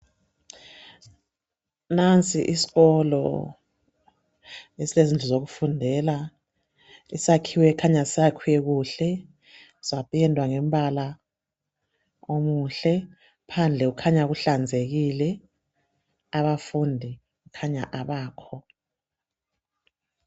Nansi iskolo esilezindlu zokufundela. Isakhiwo esikhanya sakhiwe kuhle, sapendwa ngombala omuhle. Phandle kukhanya kuhlanzekile. Abafundi kukhanya abakho.